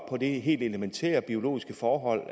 det helt elementære biologiske forhold